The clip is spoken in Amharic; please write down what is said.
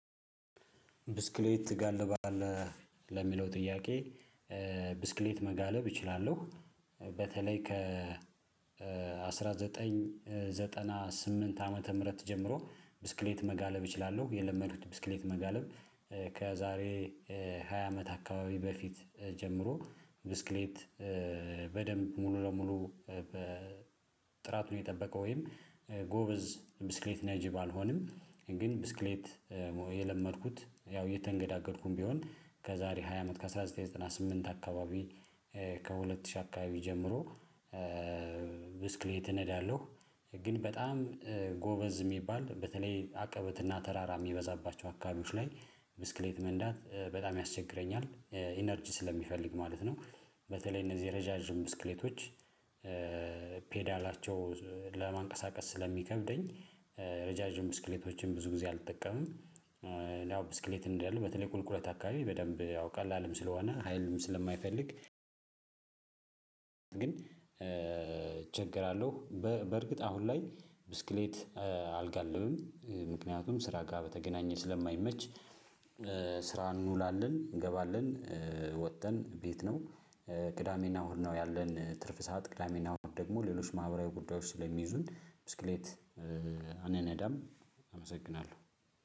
ብስክሌት ትጋልባለህ ለሚለው ጥያቄ? ብስክሌት መጋለብ እችላለሁ በተለይ ከ አስራ ዘጠኝ ዘጠና ስምንት ዓመተ ምህረት ጀምሮ ብስክሌት መጋለብ እችላለሁ የለመዱት ብስክሌት መጋለብ። ከዛሬ ሃያ አመት አካባቢ በፊት ጀምሮ ብስክሌት በደንብ ሙሉ ለሙሉ በጥራቱን የጠበቀ ወይም ጎበዝ ብስክሌት ነጂ ባልሆንም ግን ብስክሌት። የለመድኩት ያው እየተንገዳገድኩም ቢሆን ከዛሬ ሃያ አመት ከአንድ ሺህ ዘጠኝ መቶ ዘጠና ስምንት አካባቢ። ከሁለት ሺህ አካባቢ ጀምሮ ብስክሌት እነዳለሁ። ግን በጣም ጎበዝ የሚባል በተለይ አቀበትና ተራራ የሚበዛባቸው አካባቢዎች ላይ ብስክሌት መንዳት በጣም ያስቸግረኛል ኢነርጂ ስለሚፈልግ ማለት ነው። በተለይ እነዚህ የረዣዥም ብስክሌቶች ፔዳላቸው ለማንቀሳቀስ ስለሚከብደኝ ረዣዥም ብስክሌቶችን ብዙ ጊዜ አልጠቀምም። ያው ብስክሌት እንዳለ በተለይ ቁልቁለት አካባቢ በደንብ ያው ቀላልም ስለሆነ ሀይልም ስለማይፈልግ። ግን እቸገራለሁ በእርግጥ አሁን ላይ ብስክሌት አልጋልብም ምክንያቱም ስራ ጋር በተገናኘ ስለማይመች። ስራ እንውላለን እንገባለን ወጥተን ቤት ነው። ቅዳሜና እሁድ ነው ያለን ትርፍ ሰዓት ቅዳሜና እሁድ ደግሞ ሌሎች ማህበራዊ ጉዳዮች ስለሚይዙን ብስክሌት አንነዳም። አመሰግናለሁ